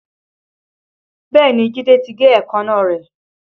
Bẹ́ẹ̀ni Jide ti gé èékánná rẹ̀